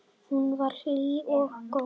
Hún var hlý og góð.